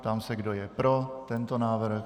Ptám se, kdo je pro tento návrh.